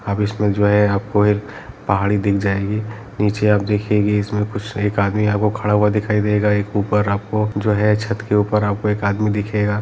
अब इसमे जो है आपको जो है एक पहाड़ी दिख जाएगी नीचे आप देखिए इसमे कुछ एक आदमी आपको खड़ा हुआ दिखाई दे गा एक ऊपर आपको जो है छत के ऊपर एक आदमी दिखेगा।